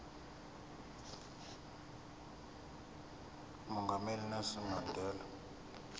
umongameli unelson mandela